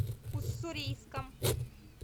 уссурийском